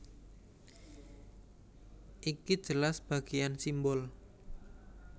Iki jelas bagéan simbol